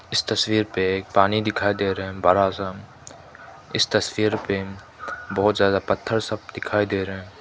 इस तस्वीर पे एक पानी दिखाई दे रहे हैं बड़ा सा इस तस्वीर पे बहोत ज्यादा पत्थर सब दिखाई दे रे है।